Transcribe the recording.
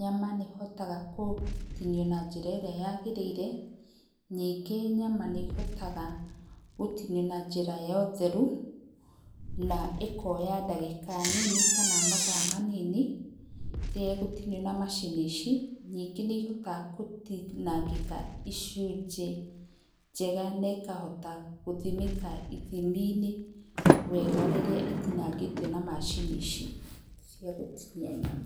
nyama nĩ hotaga gũtinio na njĩra ĩrĩa yagĩrĩire ningĩ nyama nĩ hotaga gũtinio na njĩra ya ũtheru na ĩkoya ndagĩka nini kana mathaa manini rĩrĩa ĩgũtinio na macini ici, ningĩ nĩ hotaga gũtinangĩka icunjĩ njega na ĩkahota gũthimĩka ithiminĩ wega rĩrĩa ĩtinangĩtio na macini ici cia gũtinia nyama.